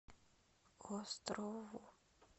острову